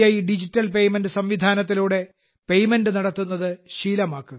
digital payment സംവിധാനത്തിലൂടെ payment നടത്തുന്നത് ശീലമാക്കുക